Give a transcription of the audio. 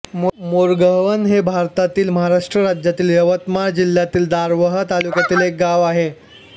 मोरगव्हाण हे भारतातील महाराष्ट्र राज्यातील यवतमाळ जिल्ह्यातील दारव्हा तालुक्यातील एक गाव आहे